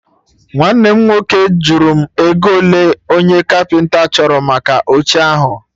Nwanne m nwoke jụrụ m ego ole onye Kapịnta chọrọ maka oche ahụ